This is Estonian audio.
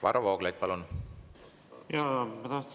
Varro Vooglaid, palun!